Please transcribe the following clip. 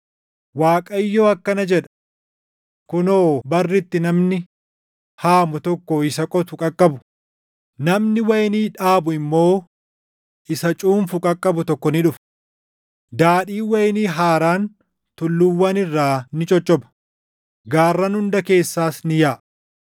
Waaqayyo akkana jedha; “Kunoo, barri itti namni haamu tokko isa qotu qaqqabu, “namni wayinii dhaabu immoo isa cuunfu qaqqabu tokko ni dhufa; Daadhiin wayinii haaraan tulluuwwan irraa ni coccopha; gaarran hunda keessaas ni yaaʼa.